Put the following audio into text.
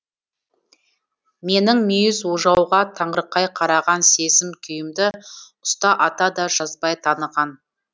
менің мүйіз ожауға таңырқай қараған сезім күйімді ұста ата да жазбай таныған